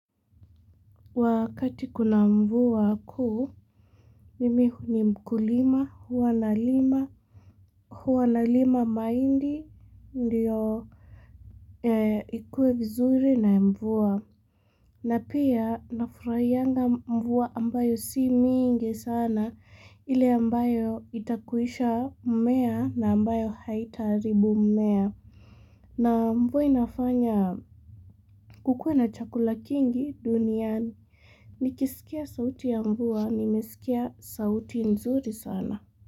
Wakati kuna mvua kuu, mimi hu mkulima, hua nalima, hua nalima mahindi ndio ikue vizuri na mvua. Na pia nafurahiyanga mvua ambayo si mingi sana, ile ambayo itakuisha mmea na ambayo haitaaribu mmea. Na mvua inafanya kukue na chakula kingi duniani, nikisikia sauti ya mvua, nimesikia sauti nzuri sana.